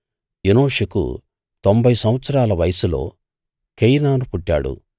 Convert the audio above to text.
ఎనోషుకు తొంభై సంవత్సరాల వయస్సులో కేయినాను పుట్టాడు